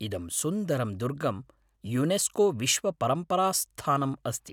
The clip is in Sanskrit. इदं सुन्दरं दुर्गं युनेस्को विश्वपरम्परास्थानम् अस्ति।